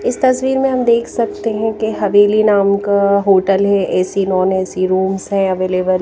इस तस्वीर में हम देख सकते हैं कि हवेली नाम का होटल है ए_सी नॉन ए_सी रूम्स है अवेलेबल --